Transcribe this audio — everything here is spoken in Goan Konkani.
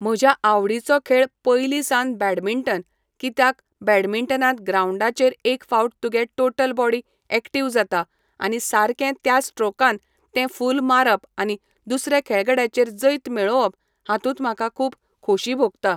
म्हज्या आवडीचो खेळ पयलीसान बॅडमिंटन कित्याक बॅडमिंटनांत ग्रांवडाचेर एक फावट तुगे टोटल बॉडी एक्टीव जाता आनी सारकें त्या स्ट्रोकान तें फूल मारप आनी दुसरे खेळगड्याचेर जैत मेळोवप हातूंत म्हाका खूब खोशी भोगता.